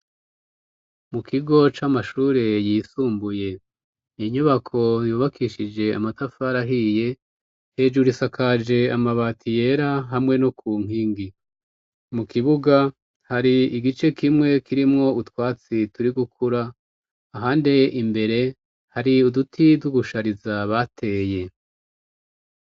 Mu kigo c'amashure yisumbuye inyubako yubakishije amatafari ahiye hejuru isakaje amabati yera hamwe no ku nkingi. Mu kibuga hari igice kimwe kirimwo utwatsi turi gukura, ahandi imbere hari uduti tw'ugushariza bateye.